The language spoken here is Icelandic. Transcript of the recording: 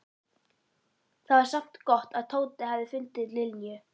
Það var samt gott að Tóti hafði fundið Linju.